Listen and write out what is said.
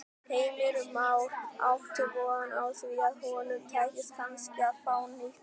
Heimir Már: Áttu von á því að honum takist kannski að fá nýtt heimili?